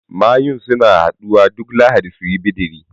Mayun suna haɗuwa duk lahadi suyi bidiri